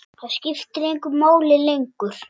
Það skipti engu máli lengur.